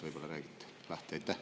Võib-olla räägite lahti?